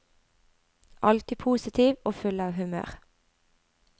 Alltid positiv og full av humør.